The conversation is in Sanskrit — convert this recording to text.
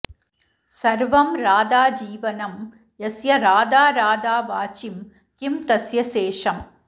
सर्वं राधा जीवनं यस्य राधा राधा वाचिं किं तस्य शेषम्